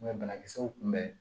banakisɛw kun bɛ